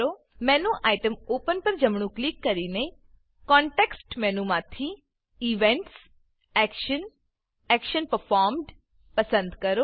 menu item open open પર જમણું click કરીને કોનટેક્સ્ટ મેનુમાંથી ઇવેન્ટ્સ એક્શન એક્શન પરફોર્મ્ડ પસંદ કરો